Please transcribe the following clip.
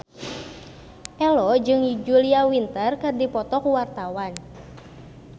Ello jeung Julia Winter keur dipoto ku wartawan